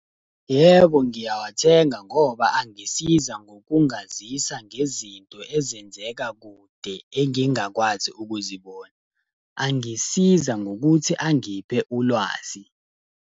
Yebo, ngiyawathenga ngoba angisiza ngokungazisa ngezinto ezenzeka kude, engingakwazi ukuzibona. Angisiza ngokuthi angiphe ulwazi.